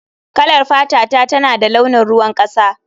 Kalar fatata tana da launin ruwan kasa